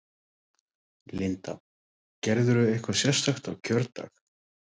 Linda: Gerirðu eitthvað sérstakt á kjördag?